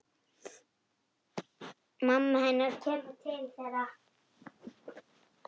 Mamma hennar kemur til þeirra.